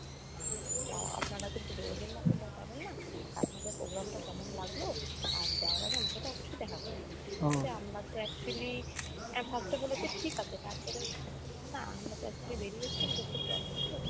আহ আপনারা কিন্তু বেরুবেন না আপনাদের program টা কেমন লাগলো আর যাওয়ার আগে আমার সাথে অব্যশই দেখা করে যাবেন। আমরা তো actually এ first এ বলেছে ঠিক আছে তারপরেও বললাম না আমরা তো actually বেরিয়ে এসেছি আমদের তো দরকার ছিল।